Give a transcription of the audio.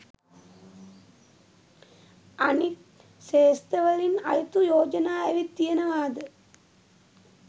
අනිත් ක්ෂේත්‍රවලින් අයුතු යෝජනා ඇවිත් තියෙනවාද?